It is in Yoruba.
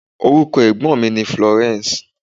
Orúkọ ẹ̀gbọ́n mi ni Florence.